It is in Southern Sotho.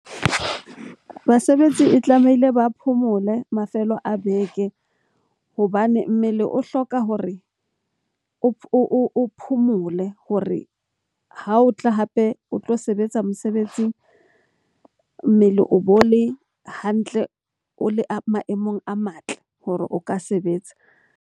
Basebetsi e tlamehile ba phomole mafelo a beke hobane mmele o hloka hore o phomole hore ha o tla hape o tlo sebetsa mosebetsing. Mmele o bo le hantle, o le a maemong a matle hore o ka sebetsa.